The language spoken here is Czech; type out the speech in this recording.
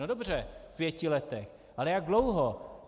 No dobře, v pěti letech, ale jak dlouho?